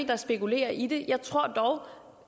der spekulerer i det jeg tror dog